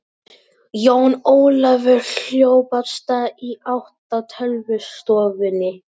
Jón Ólafur hljóp af stað í átt að tölvustofunni.